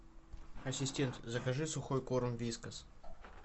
ассистент закажи сухой корм вискас